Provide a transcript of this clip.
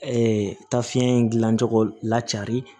ta fiɲɛ in gilan cogo la cari